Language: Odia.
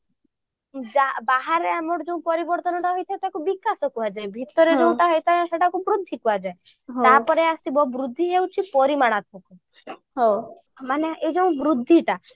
ବାହାରେ ଆମର ଯେଉଁ ପରିବର୍ତ୍ତନ ହୋଇଥାଏ ତାକୁ ବିକାଶ କୁହାଯାଏ ଭିତରେ ଯୋଉଟା ହେଇଥାଏ ସେଇଟାକୁ ବୃଦ୍ଧି କୁହାଯାଏ ତାପରେ ଆସିବ ବୃଦ୍ଧି ହଉଛି ପରିମାଣାତ୍ମକ ମାନେ ଏଇ ଯୋଉ ବୃଦ୍ଧିଟା